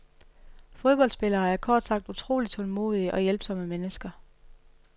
Fodboldspillere er kort sagt utrolig tålmodige og hjælpsomme mennesker.